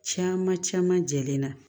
Caman caman jɛlen na